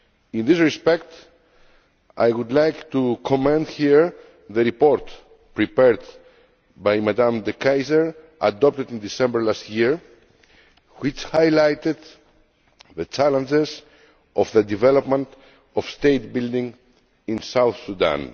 In this respect, I would like to commend here the report prepared by Ms De Keyser, adopted in December last year, which highlighted the challenges of the development of state building in South Sudan.